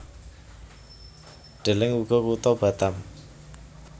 Deleng uga Kutha Batam